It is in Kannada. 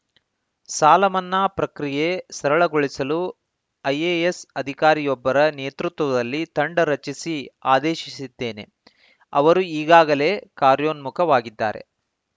ಸಾಲ ಮನ್ನಾ ಪ್ರಕ್ರಿಯೆ ಸರಳಗೊಳಿಸಲು ಐಎಎಸ್‌ ಅಧಿಕಾರಿಯೊಬ್ಬರ ನೇತೃತ್ವದಲ್ಲಿ ತಂಡ ರಚಿಸಿ ಆದೇಶಿಸಿದ್ದೇನೆ ಅವರು ಈಗಾಗಲೇ ಕಾರ್ಯೋನ್ಮುಖವಾಗಿದ್ದಾರೆ